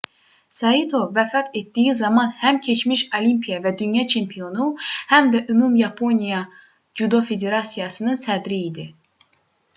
saito vəfat etdiyi zaman həm keçmiş olimpiya və dünya çempionu həm də ümumyaponiya cüdo federasiyasının sədri idi